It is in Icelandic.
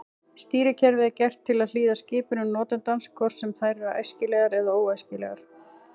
Stýrikerfið er gert til að hlýða skipunum notandans hvort sem þær eru æskilegar eða óæskilegar.